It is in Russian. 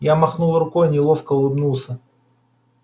я махнул рукой неловко улыбнулся